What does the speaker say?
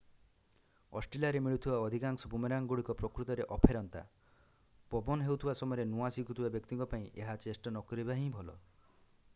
ଅଷ୍ଟ୍ରେଲିଆରେ ମିଳୁଥିବା ଅଧିକାଂଶ ବୁମେରାଙ୍ଗ ଗୁଡିକ ପ୍ରକୃତରେ ଅଫେରନ୍ତା ପବନ ହେଉଥିବା ସମୟରେ ନୂଆଁ ଶିଖୁଥିବା ବ୍ୟକ୍ତିଙ୍କ ପାଇଁ ଏହା ଚେଷ୍ଟା ନ କରିବା ହିଁ ଭଲ